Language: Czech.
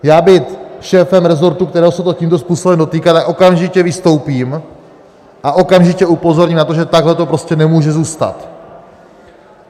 Já být šéfem resortu, kterého se to tímto způsobem dotýká, tak okamžitě vystoupím a okamžitě upozorním na to, že takhle to prostě nemůže zůstat.